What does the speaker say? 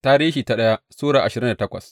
daya Tarihi Sura ashirin da takwas